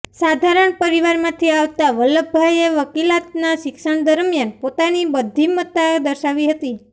સાધારણ પરિવારમાંથી આવતા વલ્લભભાઇએ વકિલાતના શિક્ષણ દરમિયાન પોતાની બધ્ધિમતા દર્શાવી હતી